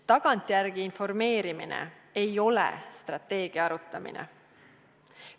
Tagantjärele informeerimine ei ole strateegia arutamine.